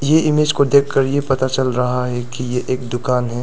ये इमेज को देखकर ये पता चल रहा है कि ये एक दुकान है।